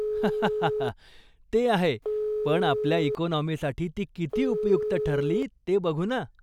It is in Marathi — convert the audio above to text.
हाहा, ते आहे, पण आपल्या इकोनॉमीसाठी ती किती उपयुक्त ठरली ते बघू ना.